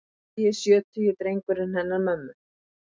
Sextugi, sjötugi drengurinn hennar mömmu.